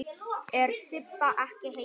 Er Sibba ekki heima?